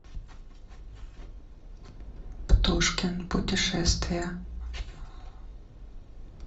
птушкин путешествия